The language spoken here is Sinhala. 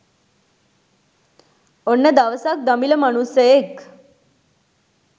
ඔන්න දවසක් දමිළ මනුස්සයෙක්